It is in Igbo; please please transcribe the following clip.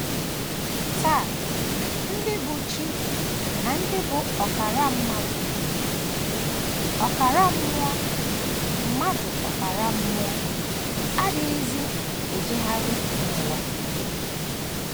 Taa, ndị bụ́ chi na ndị bụ́ ọkara mmadụ ọkara mmụọ mmadụ ọkara mmụọ adịghịzi ejegharị n’ụwa. um